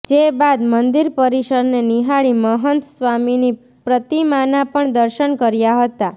જે બાદ મંદિર પરિસરને નીહાળી મહંત સ્વામીની પ્રતિમાના પણ દર્શન કર્યા હતા